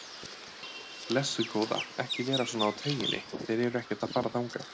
Blessuð góða, ekki vera svona á tauginni, þeir eru ekkert að fara þangað.